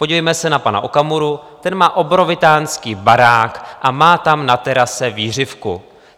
Podívejme se na pana Okamuru, ten má obrovitánský barák a má tam na terase vířivku.